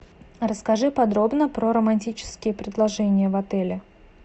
расскажи подробно про романтические предложения в отеле